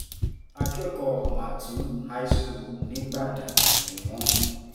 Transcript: akẹ́kọ̀ọ́ màtún high school nígbàdàn ni wọ́n